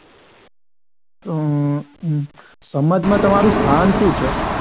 અમ સમાજમાં તમારું સ્થાન શું છે?